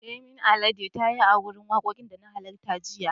Yemi Alade ta yi a wurin wakokin da na halarta jiya.